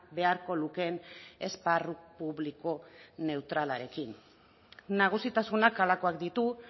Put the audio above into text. beharko lukeen esparru publiko neutralarekin nagusitasunak halakoak ditu